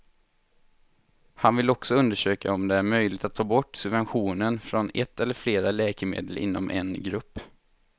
Han vill också undersöka om det är möjligt att ta bort subventionen från ett eller flera läkemedel inom en grupp.